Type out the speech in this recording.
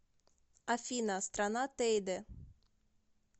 афина страна тейде